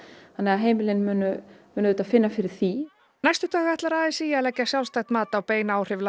þannig að heimilin munu auðvitað finna fyrir því næstu daga ætlar a s í að leggja sjálfstætt mat á bein áhrif